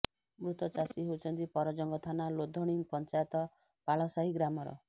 ମୃତ ଚାଷୀ ହେଉଛନ୍ତି ପରଜଙ୍ଗ ଥାନା ଲୋଧଣୀ ପଞ୍ଚାୟତ ପାଳସାହି ଗ୍ରାମର